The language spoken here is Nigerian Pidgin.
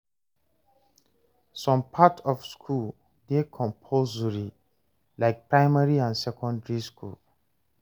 Some part of school dey compulsory like primary and secondary school